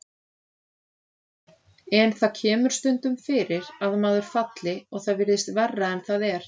En það kemur stundum fyrir að maður falli og það virðist verra en það er.